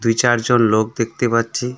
দু চারজন লোক দেখতে পাচ্ছি।